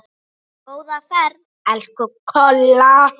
Góða ferð, elsku Kolla.